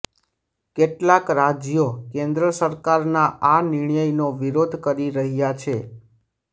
કેટલાક રાજ્યો કેન્દ્ર સરકારના આ નિર્ણયનો વિરોધ કરી રહ્યા છે